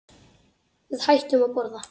Við hættum að borða.